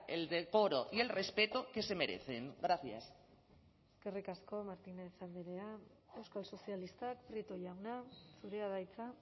el decoro y el respeto que se merecen gracias eskerrik asko martínez andrea euskal sozialistak prieto jauna zurea da hitza